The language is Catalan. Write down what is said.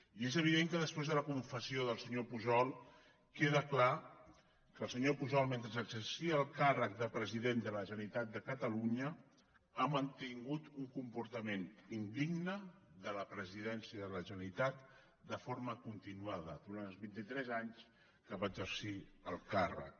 i és evident que després de la confessió del senyor pujol queda clar que el senyor pujol mentre exercia el càrrec de president de la generalitat de catalunya ha mantingut un comportament indigne de la presidència de la generalitat de forma continuada durant els vinti tres anys que va exercir el càrrec